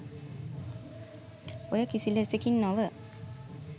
ඔය කිසි ලෙසකින් නොව